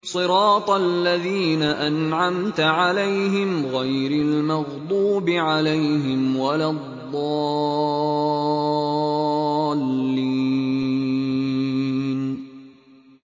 صِرَاطَ الَّذِينَ أَنْعَمْتَ عَلَيْهِمْ غَيْرِ الْمَغْضُوبِ عَلَيْهِمْ وَلَا الضَّالِّينَ